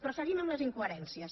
però seguim amb les incoherències